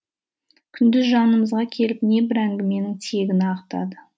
күндіз жанымызға келіп небір әңгіменің тиегін ағытады